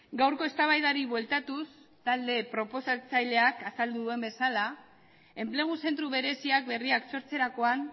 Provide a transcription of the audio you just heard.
gaurko eztabaidari bueltatuz talde proposatzaileak azaldu duen bezala enplegu zentro bereziak berriak sortzerakoan